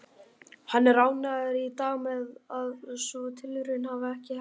Hann er ánægður í dag með að sú tilraun hafi ekki heppnast.